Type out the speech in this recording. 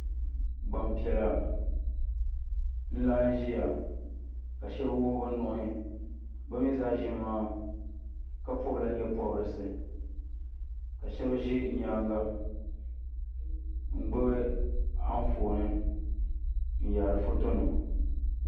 Gbanpɛla nlaɣim zaya ka shɛba wuɣi be nuhi be zaa ʒiya maa pɔb la nyɛpɔbrisi ka shɛb ʒɛ nyaanga ngbib anfooni nyaari foto nima